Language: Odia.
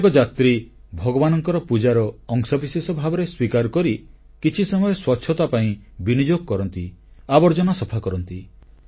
ପ୍ରତ୍ୟେକ ଯାତ୍ରୀ ଭଗବାନଙ୍କର ପୂଜାର ଅଂଶବିଶେଷ ଭାବରେ ସ୍ୱୀକାର କରି କିଛି ସମୟ ସ୍ୱଚ୍ଛତା ପାଇଁ ବିନିଯୋଗ କରନ୍ତି ଆବର୍ଜନା ସଫା କରନ୍ତି